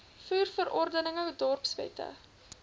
voer verordeninge dorpswette